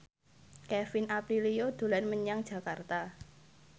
Kevin Aprilio dolan menyang Jakarta